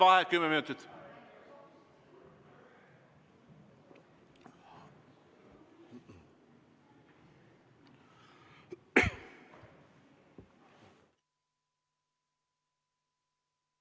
Vaheaeg kümme minutit.